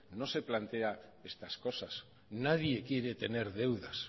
no se plantea estas cosas nadie quiere tener deudas